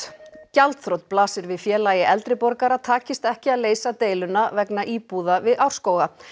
gjaldþrot blasir við Félagi eldri borgara takist ekki að leysa deiluna vegna íbúða við Árskóga